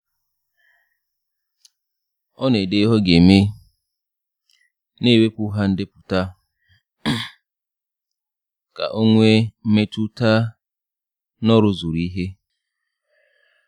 Ọ na-ede ihe o ga-eme, na-ewepu ha ndepụta ka ọ nwee mmetụta na o rụzuru ihe.